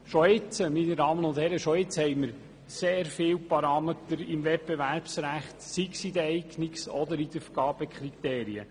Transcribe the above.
Wir haben schon jetzt sehr viele Parameter im Wettbewerbsrecht, sei es in den Eignungs- oder Vergabekriterien.